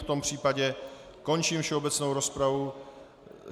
V tom případě končím všeobecnou rozpravu.